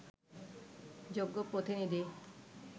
যোগ্য প্রতিনিধি